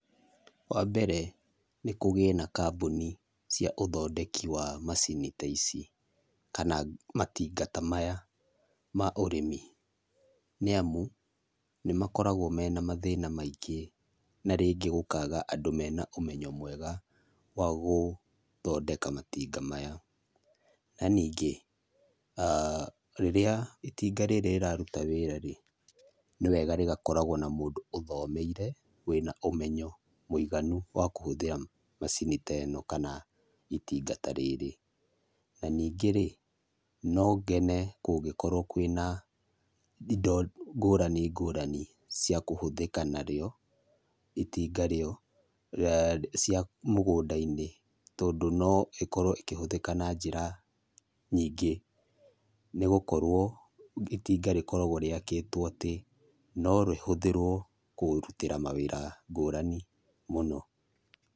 Wambere nĩ kũgĩe na kambũni cia ũthondeki wa macini ta ici, kana matinga ta maya ma ũrĩmi, nĩamu nĩmakoragwo mena mathĩna mũingĩ, na rĩngĩ gũkaga andũ mena ũmenyo mwega wa gũthondeka matinga maya. Na ningĩ, rĩrĩa itinga rĩrĩ rĩraruta wĩra-rĩ, nĩwega rĩgakoragwo na mũndũ ũthomeire wĩna ũmenyo mũinganu wa kũhũthĩra macini ta ĩno kana itinga ta rĩrĩ. Na ningĩ-rĩ, no ngene kũngĩkorwo kwĩna indo ngũrani ngũrani cia kũhũthĩka narĩo, itinga rĩo, cia mũgũnda-inĩ, tondũ no ĩkorwo ĩkĩhũthĩka na njĩra nyingĩ nĩgũkorwo itinga rĩkoragwo rĩakĩtwo atĩ norĩhũthĩrwo kũrutĩra mawĩra ngũrani mũno.